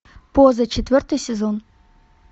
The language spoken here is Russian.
поза четвертый сезон